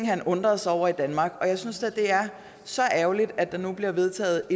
han undrede sig over og jeg synes da det er så ærgerligt at der nu bliver vedtaget